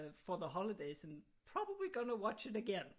For the holidays and probably gonna watch it again